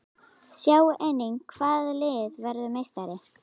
Sjá einnig: Hvaða lið verður meistari?